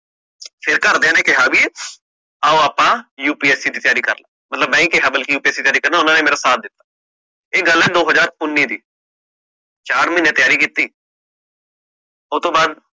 ਘਰ ਦੇਇ ਨੇ ਕਿਹਾ ਵੀ ਆਓ ਆਪਾ UPSC ਦੀ ਤਿਆਰੀ ਕਰ ਲੈਣੇ ਆ ਬਲਕਿ ਮੈਂ ਹੀ ਕਿਹਾ UPSC ਦੀ ਤਿਆਰੀ ਕਰਨਾ ਓਹਨਾ ਨੇ ਮੇਰਾ ਸਾਥ ਦਿਤਾ ਇਹ ਗੱਲ ਆ ਨੌ ਹਜਾਰ ਉਨੀ ਦੀ ਚਾਰ ਮਹੀਨੇ ਤਿਆਰੀ ਕੀਤੀ ਉਤੋਂ ਬਾਅਦ